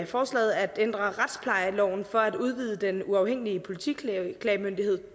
forslaget at ændre retsplejeloven for at udvide den uafhængige politiklagemyndighed